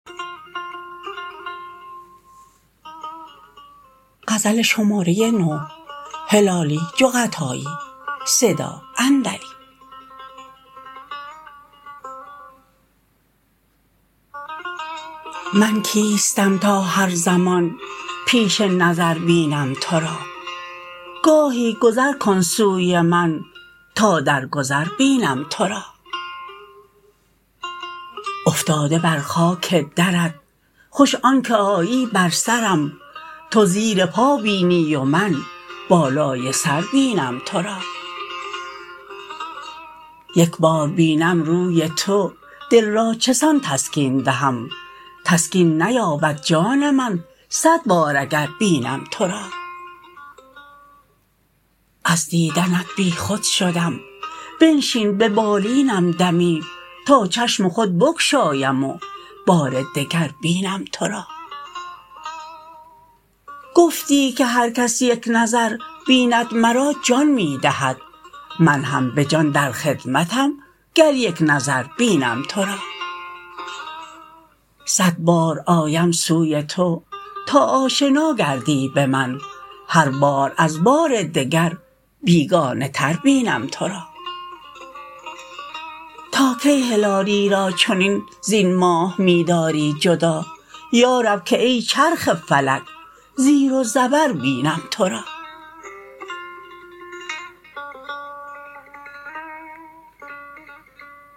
من کیستم تا هر زمان پیش نظر بینم تو را گاهی گذر کن سوی من تا در گذر بینم تو را افتاده بر خاک درت خوش آن که آیی بر سرم تو زیر پا بینی و من بالای سر بینم تو را یک بار بینم روی تو دل را چسان تسکین دهم تسکین نیابد جان من صد بار اگر بینم تو را از دیدنت بیخود شدم بنشین به بالینم دمی تا چشم خود بگشایم و بار دگر بینم تو را گفتی که هر کس یک نظر بیند مرا جان می دهد من هم بجان در خدمتم گر یک نظر بینم تو را صد بار آیم سوی تو تا آشنا گردی به من هر بار از بار دگر بیگانه تر بینم تو را تا کی هلالی را چنین زین ماه می داری جدا یارب که ای چرخ فلک زیر و زبر بینم تو را